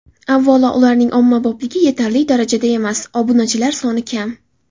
Avvalo, ularning ommabopligi yetarli darajada emas, obunachilar soni kam.